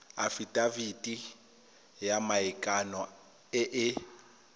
afitafiti ya maikano e e